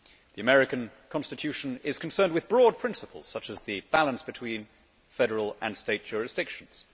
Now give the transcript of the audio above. The US Constitution is concerned with broad principles, such as the balance between federal and state jurisdictions